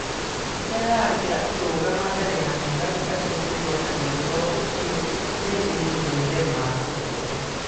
Mbica yake akĩrũgama mbere ya thigari atekwĩyonania Ũhoro ũcio nĩ ĩgĩtherema thĩ yothe.